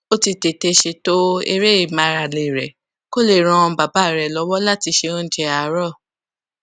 ó ti tètè ṣètò eré ìmárale rè kó lè ran bàbá rè lówó láti se oúnjẹ àárò